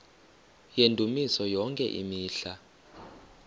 yendumiso yonke imihla